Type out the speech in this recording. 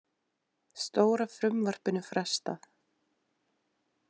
Stóra frumvarpinu frestað